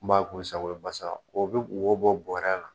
N b'a kun sago ye basaka o bɛ wo bɔ bɔrɛ la.